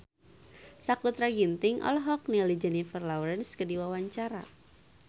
Sakutra Ginting olohok ningali Jennifer Lawrence keur diwawancara